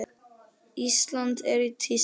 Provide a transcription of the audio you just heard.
Ísland er í tísku.